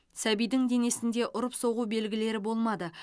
сәбидің денесінде ұрып соғу белгілері болмады